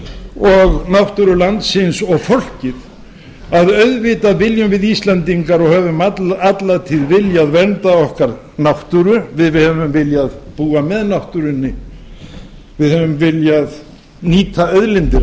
og náttúru landsins og fólkið að auðvitað viljum við íslendingar og höfum alla tíð viljað vernda okkar náttúru við höfum viljað búa með náttúrunni við höfum viljað nýta auðlindir